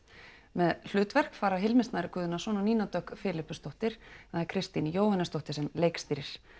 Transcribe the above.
með hlutverk fara Hilmir Snær Guðnason og Nína Dögg Filippusdóttir en það er Kristín Jóhannesdóttir sem leikstýrir